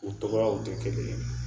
U tɔgɔw tɛ kelen ye